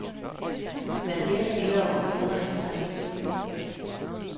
Vær flere spillere om at udregne strategier.